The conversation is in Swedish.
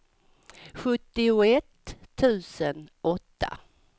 sjuttioett tusen åtta